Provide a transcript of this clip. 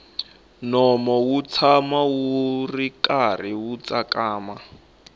nomu wu tshama wu karhi wu tsakama